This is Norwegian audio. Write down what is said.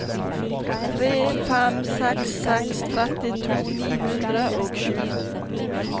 tre fem seks seks trettito ni hundre og sju